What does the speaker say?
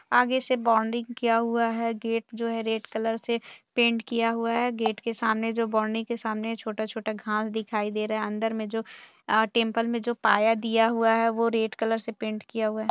आगे से बाउंड्री किया हुआ है गेट जो रेड कलर से पेंट किया हुआ है गेट के सामने जो बाउंड्री सामने छोटा -छोटा घास दिखाई दे रहा है अंदर में जो टेम्पल जो पाया दिया हुआ है वो रेड कलर से पेंट किया हुआ है।